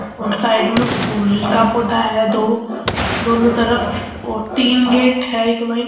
और साइड में फूल का पौधा है दो दोनों तरफ और तीन गेट है एक में --